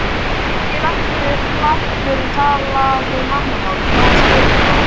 Ungi læknirinn talaði mannamál, nánast götumál.